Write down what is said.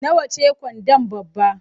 Nawa ce gwanda babba?